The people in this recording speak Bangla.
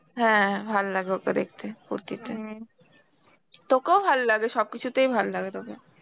হ্যাঁ ভাললাগে ওকে দেখতে কুর্তিতে . তোকেও ভাললাগে সবকিছুতেই ভাললাগে তোকে.